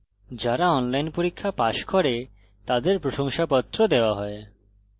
যারা online পরীক্ষা pass করে তাদের প্রশংসাপত্র দেওয়া হয়